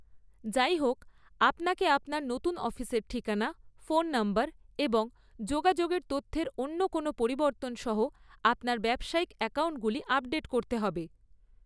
যাইহোক, আপনাকে আপনার নতুন অফিসের ঠিকানা, ফোন নম্বর এবং যোগাযোগের তথ্যের অন্য কোনও পরিবর্তন সহ আপনার ব্যবসায়িক অ্যাকাউণ্টগুলি আপডেট করতে হবে।